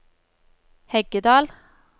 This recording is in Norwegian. Heggedal